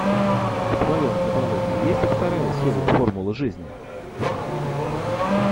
в твоем каталоге есть вторая серия формулы жизни